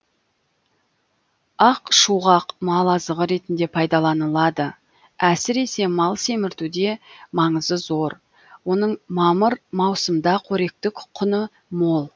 ақшуғақ мал азығы ретінде пайдаланылады әсіресе мал семіртуде маңызы зор оның мамыр маусымда қоректік құны мол